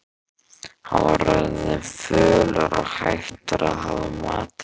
Hann var orðinn fölur og hættur að hafa matarlyst.